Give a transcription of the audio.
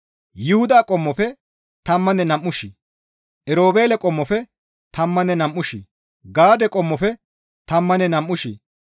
Yuhuda qommofe tammanne nam7u shii, Erobeele qommofe tammanne nam7u shii, Gaade qommofe tammanne nam7u shii,